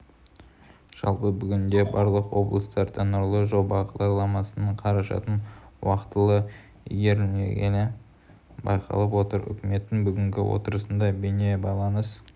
жалпы бүгінде барлық облыстарда нұрлы жол бағдарламасының қаражатын уақтылы игерілмегені байқалып отыр үкіметтің бүгінгі отырысында бейнебайланыс